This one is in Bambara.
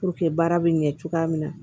Puruke baara bɛ ɲɛ cogoya min na